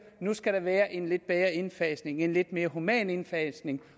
nu skal der være en lidt bedre indfasning en lidt mere human indfasning